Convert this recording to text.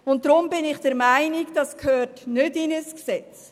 Deshalb bin ich der Meinung, das gehöre nicht in ein Gesetz.